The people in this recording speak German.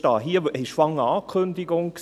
Es war hier erst eine Ankündigung.